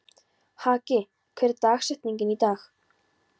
Haki, hver er dagsetningin í dag?